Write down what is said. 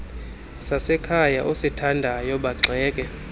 sasekhaya osithandayo bagxeke